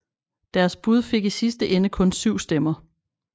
Deres bud fik i sidste ende kun syv stemmer